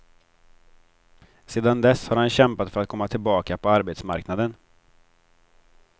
Sedan dess har han kämpat för att komma tillbaka på arbetsmarknaden.